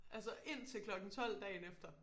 Altså indtil klokken 12 dagen efter